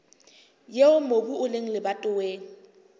eo mobu o leng lebatoweng